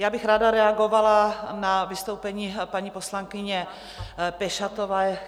Já bych ráda reagovala na vystoupení paní poslankyně Pešatové...